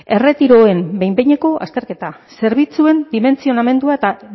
erretiroen behin behineko azterketa zerbitzuen dimentsionamendua eta